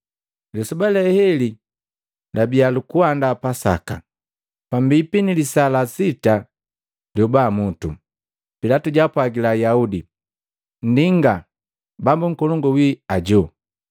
Lisoba le heli labiya lukuandaa Pasaka, pambipi ni lisaa la sita lioba mutu. Pilatu jaapwagila Ayaudi, “Ndinga, Bambu Nkolongu winu ajo!”